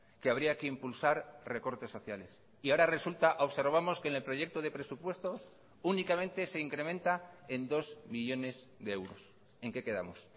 que habría que impulsar recortes sociales y ahora resulta observamos que en el proyecto de presupuestos únicamente se incrementa en dos millónes de euros en qué quedamos